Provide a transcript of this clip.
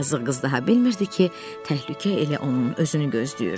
Yazıq qız daha bilmirdi ki, təhlükə elə onun özünü gözləyir.